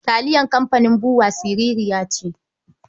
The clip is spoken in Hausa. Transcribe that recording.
Taliyar kamfanin BUA siririya ce.